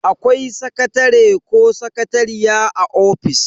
Akwai sakatare ko sakatariya a office.